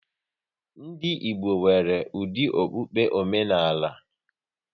Ndị Igbo nwere dị okpukpe omenala